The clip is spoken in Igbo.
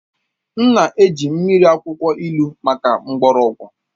M na-eji mmiri akwụkwọ ilu maka mgbọrọgwụ